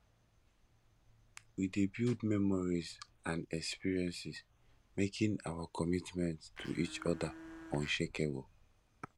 we dey build memories and experiences making our commitment to each other unshakable